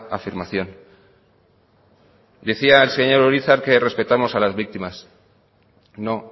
afirmación decía el señor urizar que respetamos a las víctimas no